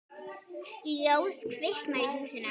Ljós kviknar í húsinu.